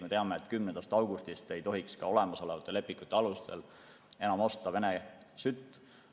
Me teame, et 10. augustist ei tohiks ka olemasolevate lepingute alustel enam osta Vene sütt.